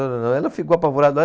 Ela ficou apavorada.